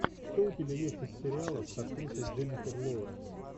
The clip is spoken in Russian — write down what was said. что у тебя есть из сериалов с актрисой дженнифер лоуренс